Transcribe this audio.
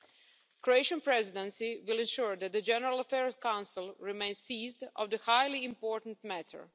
The Croatian Presidency will ensure that the General Affairs Council remains seized of this highly important matter.